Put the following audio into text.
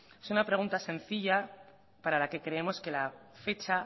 es una pregunta sencilla para la que creemos que la fecha